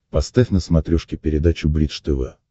поставь на смотрешке передачу бридж тв